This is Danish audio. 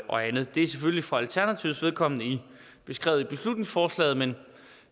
og andet det er selvfølgelig for alternativets vedkommende beskrevet i beslutningsforslaget men